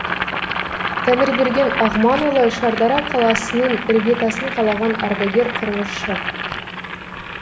тәңірберген ағманұлы шардара қаласының іргетасын қалаған ардагер құрылысшы